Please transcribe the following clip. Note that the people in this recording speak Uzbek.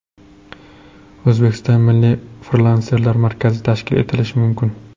O‘zbekistonda Milliy frilanserlar markazi tashkil etilishi mumkin.